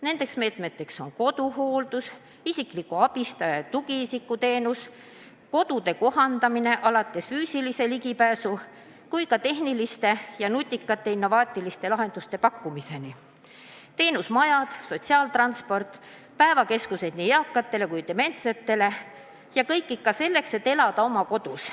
Need meetmed on koduhooldus, isikliku abistaja ja tugiisiku teenus, kodude kohandamine, alates füüsilise ligipääsu tagamisest kuni tehniliste ja nutikate innovaatiliste lahenduste pakkumiseni, teenusmajad, sotsiaaltransport, päevakeskused nii eakatele kui ka dementsetele – ja kõik ikka selleks, et inimene saaks elada oma kodus.